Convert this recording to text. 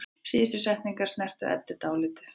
Síðustu setningarnar snertu Eddu dálítið.